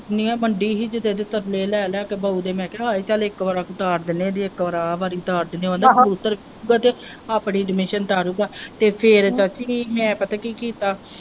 ਮੰਡੀ ਹੀ ਕਿਤੇ ਤੇ ਤਰਲੇ ਲੈ ਲੈ ਕੇ ਬਉ ਦੇ ਮੈਂ ਕਿਹਾ ਹਾਏ ਚੱਲ ਇੱਕ ਵਾਰ ਅਸੀਂ ਤਾਰ ਦਿੰਦੇ ਇੱਕ ਵਾਰੀ ਆਹ ਵਾਰੀ ਤਾਰ ਦਿੰਦੇ ਜਦੋਂ ਆਪਣੀ admission ਤਾਰੀ ਤੇ ਫਿਰ ਚਾਚੀ ਪਤਾ ਕੀ ਕੀਤਾ?